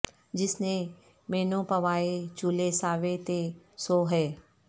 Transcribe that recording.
جس نے مینوں پوائے چولے ساوے تے سو ہے